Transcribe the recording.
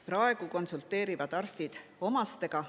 Praegu konsulteerivad arstid omastega.